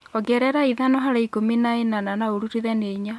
ongerera ĩthano harĩ ĩkũmi na ĩnana na ũrutithanie ĩnya